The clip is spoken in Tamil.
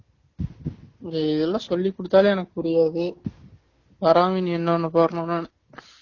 இதெல்லாம் சொல்லி குடுத்தாலே எனக்கு புரியாது வராம இனி என்ன பண்ணப் போறேனோ நானு